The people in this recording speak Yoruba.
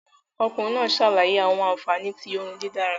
Ọkunrin naa ṣalaye awọn anfani ti oorun didara